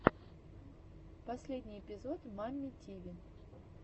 последний эпизод мамми тиви